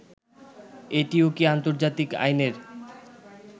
এটিও কি আন্তর্জাতিক আইনের